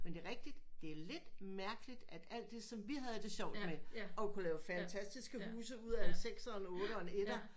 Men det er rigtigt det er lidt mærkeligt at alt det som vi havde det sjovt med og kunne lave fantastiske huse ud af en sekser en otter og en etter